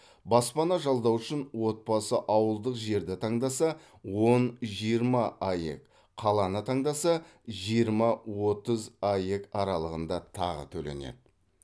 баспана жалдау үшін отбасы ауылдық жерді таңдаса он жиырма аек қаланы таңдаса жиырма отыз аек аралығында тағы төленеді